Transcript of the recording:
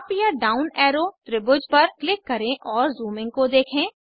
up या down arrow त्रिभुज पर क्लिक करें और ज़ूमिंग को देखें